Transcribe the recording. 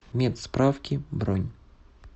медсправки бронь